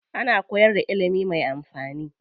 Ana koyar da ilimi mai amfani.